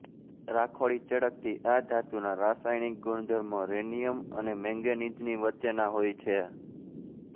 રાખોડી ચળકતી આ ધાતુના રાસાયણિક ગુણધર્મો રિનીયમ અને મેંગેનિઝની વચ્ચેના હોય છે